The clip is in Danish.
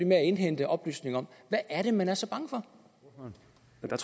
med at indhente oplysninger om hvad er det man er så bange